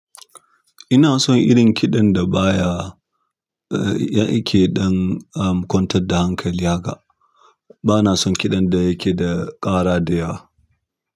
Ina son irin kiɗan da baya, eh, yake ɗan, am, kwantar da hankali haka. Bana son kiɗan da yake da ƙara da yawa.